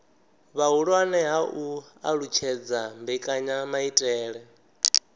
vhuhulwane ha u alutshedza mbekanyamaitele